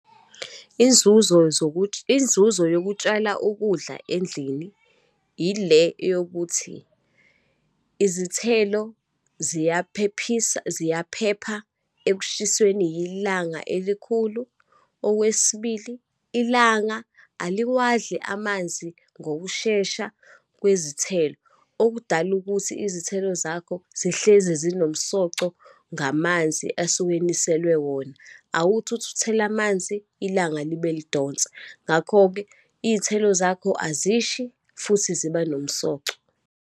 Inzuzo zokuthi, inzuzo yokutshala ukudla endlini, yile yokuthi izithelo ziyaphephisa, ziyaphepha ekushisweni ilanga elikhulu. Okwesibili, ilanga aliwadli amanzi ngokushesha kwezithelo, okudala ukuthi izithelo zakho zihlezi zinomsoco ngamanzi asuke eniselwe wona. Awuthi uthi uthela amanzi, ilanga libe lidonsa. Ngakho-ke, iy'thelo zakho azishi, futhi ziba nomsoco.